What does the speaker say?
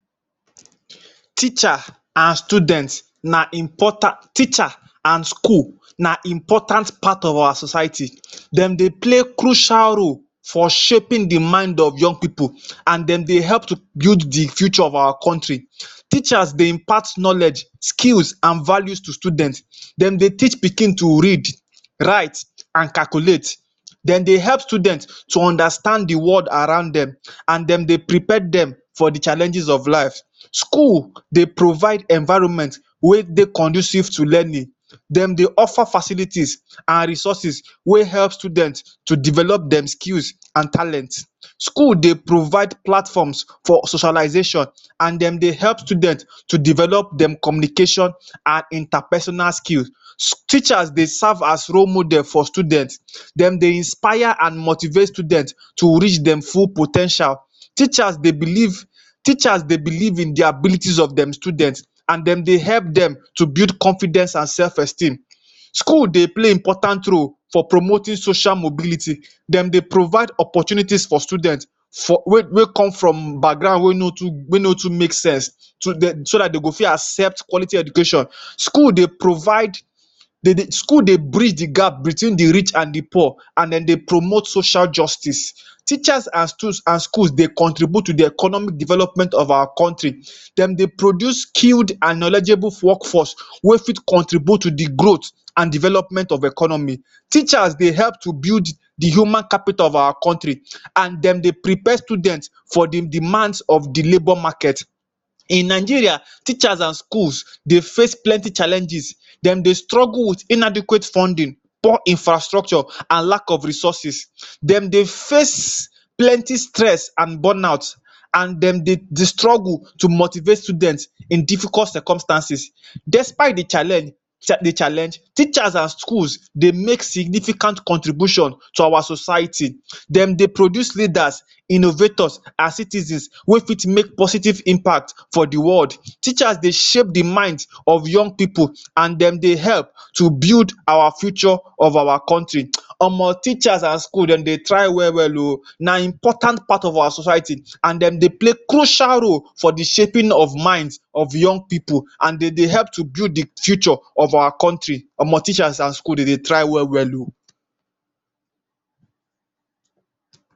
Teacher and student na importat teacher and school na important part of our society. Dem dey play crucial role for shaping the mind of young pipu and dem dey help to build the future of our country. Teacher dey impact knowledge, skills and values to students. Dem dey teacher pikin to read, write and calculate. Den dey help student to understand ther world around dem and dem dey protect dem for the challenges of life. School dey provide environment wey dey conducive to learning. Dem dey offer facilities and resources wey help student to develop dem skills and talent. Schools dey provide platforms for socialization and dem dey help student to develop dem communication and interpersonal skills. Teachers dey serve as role model for student um. Dem dey inspire and motivate student to reach dem full po ten tials. Teachers dey believe, teachers dey believe in the ability of dem student and dem dey help dem to build confidence and self-esteem. School dey play important role for promoting social mobility. Dem dey provide opportunities for students for wey wey come from background wey no too wey no too make sense, so de so dat they go fit accept quality education. School dey provide. School dey breach the gap between the rich and the poor and dem dey promote social justice. Teachers and stu and schools dey contribute to the economy development of our country um. Dem go produce skilled and knowledgeable workforce wey fit contribute to the growth and development of economy. Teachers dey help to build the human capital of our country um and dem dey prepare students for the demands of the labour market. In Nigeria, teachers and schools dey face plenty challenges. Dem dey struggle with inadequate funding, poor infrastructure and lack of resources um. Dem dey face plenty stress and burn out and dem dey the struggle to motivate student in difficult circumstances. Despite the challenge sha the challenge, the teachers and schools dey make significant contribution to our society. Dem dey produce leaders, innovators as citizens wey fit make positive impact for the world. Teachers dey shape the mind of young pipu and dem dey help to build our future of our country um. Omo teachers and schools dem dey try well well oh. Na important part of our society and dem dey play crucial role for the shaping of minds of young pipu and dem dey help to build the future of our country. Omo teachers and schools dem dey try well well oh.